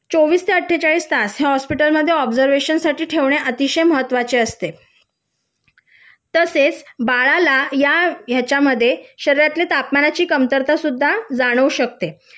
चोवीस ते आट्ठेचाळीस तास हॉस्पिटलमध्ये ऑब्झर्वेशन साठी ठेवणे अत्यंत गरजेचे असते तसेच बाळाला या याच्यामध्ये शरीराच्या तापमानाची कमतरता सुद्धा जाणवू शकते